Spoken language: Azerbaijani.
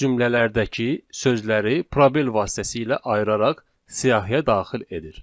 cümlələrdəki sözləri probel vasitəsilə ayıraraq siyahıya daxil edir.